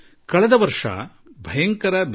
ಕಳೆದ ವರ್ಷ ನಾವು ಹಲವು ಪರೀಕ್ಷೆಗಳನ್ನು ಎದುರಿಸಿದೆವು